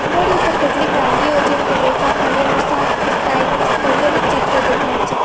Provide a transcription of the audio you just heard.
Board ઉપર કેટલીક વાનગીઓ જેમકે ઢોસા પનીરનું શાક ચાઈનીઝ વગેરે ચિત્ર દેખાય છે.